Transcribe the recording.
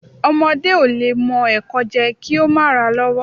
Ọmọdé o lẹ mo ẹ́kọ jé, ki o ma ra lọwò